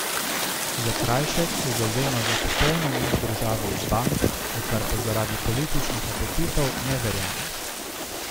Zakrajšek se zavzema za popoln umik države iz bank, v kar pa zaradi političnih apetitov ne verjame.